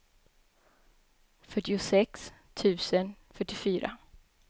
fyrtiosex tusen fyrtiofyra